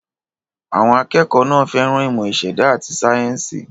Àwọn akẹ́kọ̀ọ́ náà fẹ́ràn ìmọ̀ ìṣẹ̀dá àti sáyẹ́ńsì.